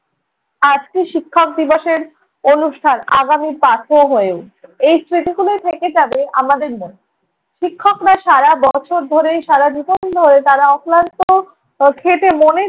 আজকে শিক্ষক দিবসের অনুষ্ঠান আগামী পাথেয় হয়ে উঠবে। এই স্মৃতিগুলোই থেকে যাবে আমাদের মনে। শিক্ষকরা সারা বছর ধরে সারা জীবন ধরে তাঁরা অক্লান্ত আহ খেটে মনের